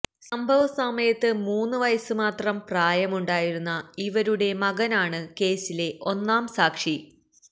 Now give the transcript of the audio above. സംഭവസമയത്ത് മൂന്നു വയസ് മാത്രം പ്രായമുണ്ടായിരുന്ന ഇവരുടെ മകനാണ് കേസിലെ ഒന്നാം സാക്ഷി